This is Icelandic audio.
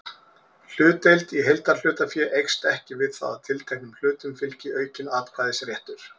Hlutdeild í heildarhlutafé eykst ekki við það að tilteknum hlutum fylgi aukinn atkvæðisréttur.